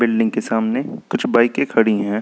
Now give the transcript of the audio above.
Building के सामने कुछ बाईकें खड़ी है।